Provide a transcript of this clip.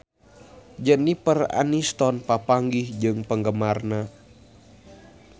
Jennifer Aniston papanggih jeung penggemarna